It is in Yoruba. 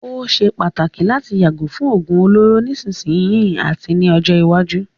Ó ṣé pàtàkì láti yàgò fún òógún olóró nísìsiyìí àti ní ọjọ́ iwájú.